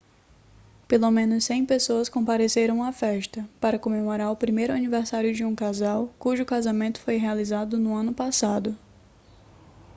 pelo menos 100 pessoas compareceram à festa para comemorar o primeiro aniversário de um casal cujo casamento foi realizado no ano passado